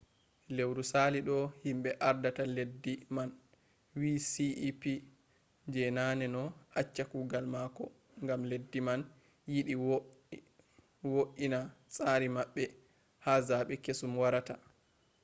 lewru sali ɗo himɓe ardata leddi man wi cep je naneno acca kugal mako gam leddi man yiɗi wo’i na tsari maɓɓe ha zaɓe kesum warata